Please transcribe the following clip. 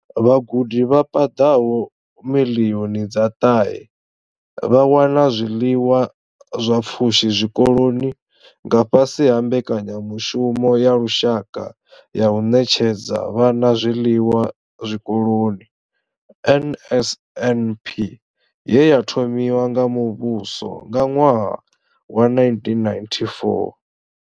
Vhagudi vha paḓaho miḽioni dza ṱahe vha wana zwiḽiwa zwa pfushi zwikoloni nga fhasi ha Mbekanya mushumo ya Lushaka ya u Ṋetshedza Vhana Zwiḽiwa Zwikoloni NSNP ye ya thomiwa nga muvhuso nga ṅwaha wa 1994.